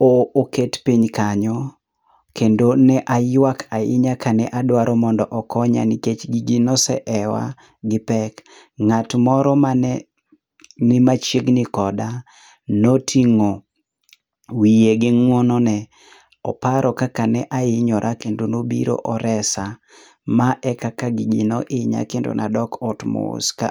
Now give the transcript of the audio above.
oket piny kanyo kendo ne ayuak ahinya ka ne adwaro mondo okonya nikech gigi ne oseewa gi pek. Ng'at moro ma ne ni machiegni koda ne otingo wiye gi ng'uono ne oparo kaka ne ainyora kendo ne obiro oresa, ma kaka gigi ne oinya kendo ne adok ot mos ka.